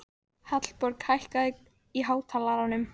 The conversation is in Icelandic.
Hallborg, hækkaðu í hátalaranum.